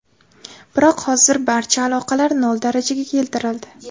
Biroq hozir barcha aloqalar nol darajaga keltirildi.